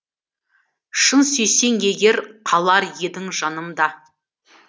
шын сүйсең егер қалар едің жанымда